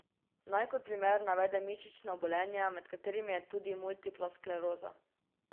Naj kot primer navedem mišična obolenja, med katerimi je tudi multipla skleroza.